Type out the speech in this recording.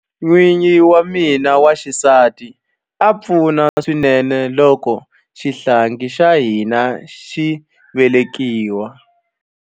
N'wingi wa mina wa xisati a pfuna swinene loko xihlangi xa hina xi velekiwa.